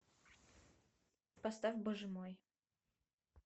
поставь боже мой